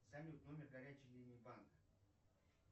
салют номер горячей линии банка